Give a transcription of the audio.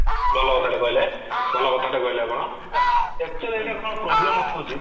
ଭଲ କଥାଟେ କହିଲେ ଭଲ କଥା ଟେ କହିଲେ ଆପଣ actually ଏଇଟା କଣ problem ହଉଛି